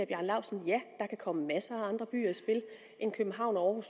bjarne laustsen ja der kan komme masser af andre byer i spil end københavn og